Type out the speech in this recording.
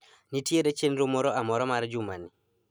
Nitiere chenro moro amora mar jumani